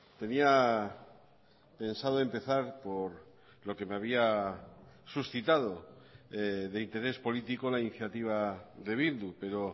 tenía pensado empezar por lo que me había suscitado de interés político la iniciativa de bildu pero